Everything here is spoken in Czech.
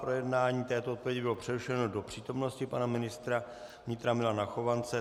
Projednání této odpovědi bylo přerušeno do přítomnosti pana ministra vnitra Milana Chovance.